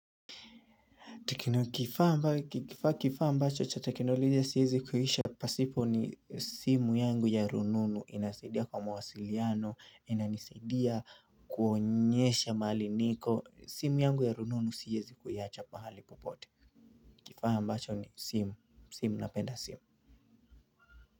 Kifaa ambacho cha teknolojia siwezi kuishi pasipo ni simu yangu ya rununu inasaidia kwa mwasiliano inanisaidia kuonyesha mahali niko simu yangu ya rununu siwezi kuiwacha pahali popote ile kifaa ambacho ni simu simu napenda simu.